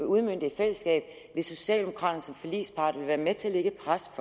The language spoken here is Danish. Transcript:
udmønte i fællesskab hvis socialdemokraterne som forligspart ville være med til at presse